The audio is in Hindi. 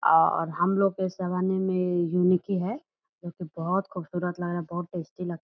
आ और हम लोग के इस जमाने में युनिक ही है क्योंकि बहुत खूबसूरत लग रहा है बहुत टेस्टी लग --